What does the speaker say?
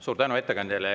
Suur tänu ettekandjale!